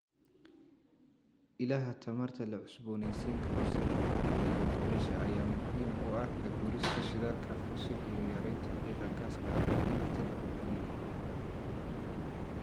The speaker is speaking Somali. Ilaha tamarta la cusboonaysiin karo sida qoraxda iyo dabaysha ayaa muhiim u ah ka guurista shidaalka fosil iyo yaraynta qiiqa gaaska aqalka dhirta lagu koriyo.